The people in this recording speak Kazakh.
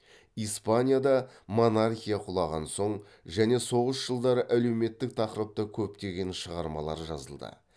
испания да монархия құлаған соң және соғыс жылдары әлеуметтік тақырыпта көптеген шығармалар жазылды